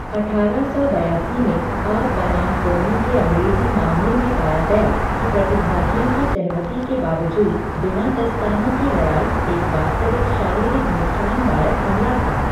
अठारह सौ बयासी में आर बनाम कोनी के अँग्रेजी मामले में पाया गया कि प्रतिभागियों की सहमति के बावजूद, बिना दस्तानों की लड़ाई एक वास्तविक शारीरिक नुकसानदायक हमला था।